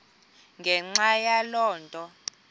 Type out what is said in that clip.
ngenxa yaloo nto